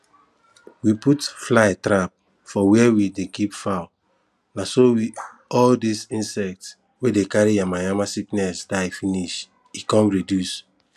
we put fly trap for where we dey keep fowl na so all those insect wey dey carry yamayama sickness die finish e come reduce